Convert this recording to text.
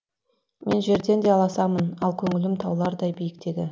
мен жерден де аласамын ал көңілім таулардай биіктегі